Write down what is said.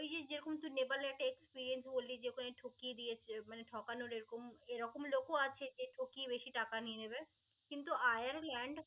ওই যে যেরকম তুই নেপালের একটা experience বললি যে ওখানে ঠকিয়ে দিয়েছে. মানে ঠকানোর এরকম এরকম লোকও আছে যে ঠকিয়ে বেশি টাকা নিয়ে নিবে. কিন্তু আয়ারল্যন্ড